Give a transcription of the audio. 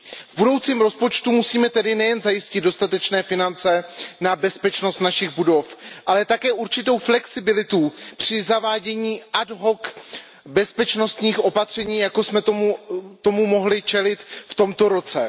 V budoucím rozpočtu musíme tedy nejen zajistit dostatečné finance na bezpečnost našich budov, ale také určitou flexibilitu při zavádění ad hoc bezpečnostních opatření, jako jsme tomu mohli čelit v tomto roce.